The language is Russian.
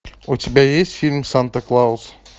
у тебя есть фильм санта клаус